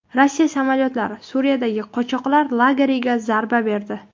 Rossiya samolyotlari Suriyadagi qochoqlar lageriga zarba berdi.